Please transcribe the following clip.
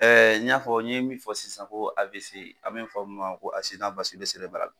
Ɛɛ n y'a fɔ n ye min fɔ sisan ko AVC an bɛ fɔ min ma ko